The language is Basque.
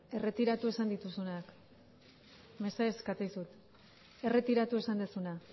erretiratu esan dituzunak mesedez esaten dizut erretiratu esan duzuna